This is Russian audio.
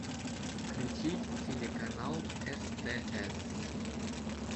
включить телеканал стс